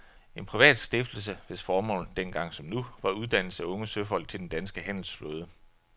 En privat stiftelse hvis formål, dengang som nu, var uddannelse af unge søfolk til den danske handelsflåde.